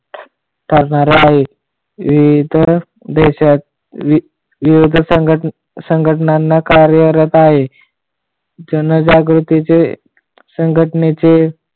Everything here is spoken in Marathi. ईतर देशात विविध सांगटनांना कार्यरत आहे. जनजागृतीचे सांगटणेचे